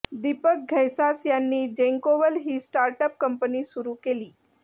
दीपक घैसास यांनी जेन्कोवल ही स्टार्ट अप कंपनी सुरू केली